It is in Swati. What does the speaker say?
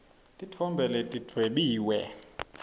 titfombe letidvwebiwe